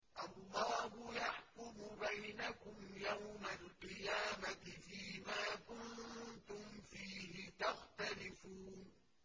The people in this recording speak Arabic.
اللَّهُ يَحْكُمُ بَيْنَكُمْ يَوْمَ الْقِيَامَةِ فِيمَا كُنتُمْ فِيهِ تَخْتَلِفُونَ